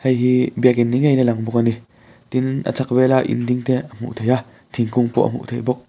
heihi biakin ni ngei in a lang bawk a ni tin a chhak vela in dingte a hmuh thei a thingkung pawh a hmuh thei bawk.